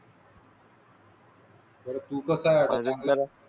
तू कसा? हा